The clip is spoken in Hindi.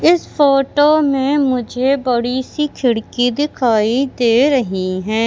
इस फोटो में मुझे बड़ी सी खिड़की दिखाई दे रही है।